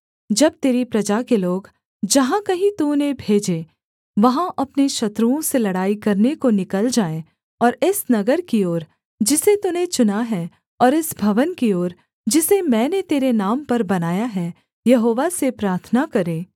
जब तेरी प्रजा के लोग जहाँ कहीं तू उन्हें भेजे वहाँ अपने शत्रुओं से लड़ाई करने को निकल जाएँ और इस नगर की ओर जिसे तूने चुना है और इस भवन की ओर जिसे मैंने तेरे नाम पर बनाया है यहोवा से प्रार्थना करें